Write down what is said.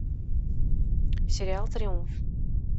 сериал триумф